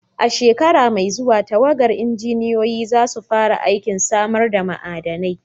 A shekara mai zuwa, tawagar injiniyoyi za su fara aikin samar da ma'adanai.